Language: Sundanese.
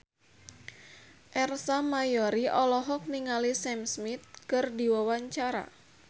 Ersa Mayori olohok ningali Sam Smith keur diwawancara